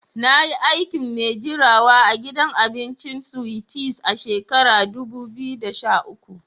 Na yi aikin mai jirawa a'gidan abincin Sweeties a shakaran dubu biyu da sha uku.